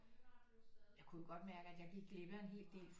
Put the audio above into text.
Jeg kunne jo godt mærke at jeg gik glip af en hel del